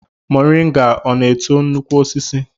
Moringa ọ na-eto nnukwu osisi?